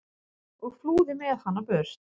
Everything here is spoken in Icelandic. og flúði með hana burt.